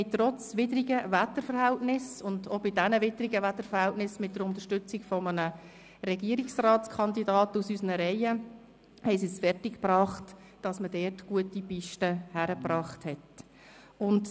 Trotz widrigen Wetterverhältnissen – und auch bei diesen widrigen Wetterverhältnissen mit der Unterstützung eines Regierungsratskandidaten aus unseren Reihen – haben sie es fertig gebracht, dort gute Pisten zu präparieren.